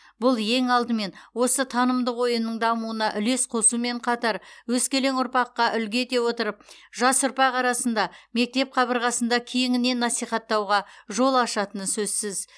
бұл ең алдымен осы танымдық ойынның дамуына үлес қосумен қатар өскелең ұрпаққа үлгі ете отырып жас ұрпақ арасында мектеп қабырғасында кеңінен насихаттауға жол ашатыны сөзсіз